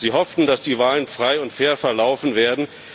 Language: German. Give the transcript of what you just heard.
Sie hofften, dass die Wahl frei und fair verlaufen werde.